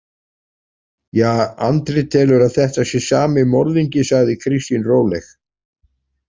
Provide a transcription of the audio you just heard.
Ja, Andri telur að þetta sé sami morðingi, sagði Kristín róleg.